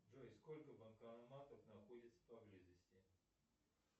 джой сколько банкоматов находится поблизости